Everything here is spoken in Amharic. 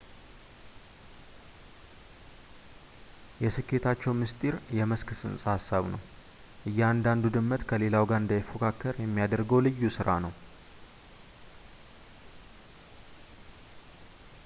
የስኬታቸው ምስጢር የመስክ ጽንሰ ሃሳብ ነው እያንዳንዱ ድመት ከሌላው ጋር እንዳይፎካከር የሚያደርገው ልዩ ሥራ ነው